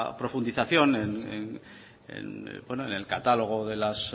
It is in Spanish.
profundización en el catálogo de las